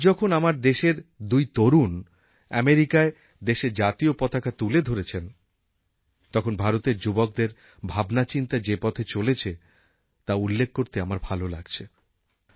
আজ যখন আমার দেশের দুই তরুণ আমেরিকায় দেশের জাতীয় পতাকা তুলে ধরেছেন তখন ভারতের যুবকদের ভাবনাচিন্তা যে পথে চলেছে তা উল্লেখ করতে আমার ভাল লাগছে